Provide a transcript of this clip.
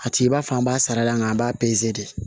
A t'i b'a fɔ an b'a sara nga an b'a de